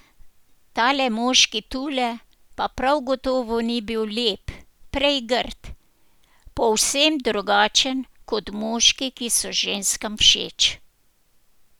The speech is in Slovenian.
Tale moški tule pa prav gotovo ni bil lep, prej grd, povsem drugačen kot moški, ki so ženskam všeč.